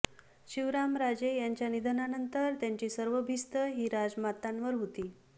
शिवरामराजे यांच्या निधनानंतर त्यांची सर्व भिस्त ही राजमातांवर होती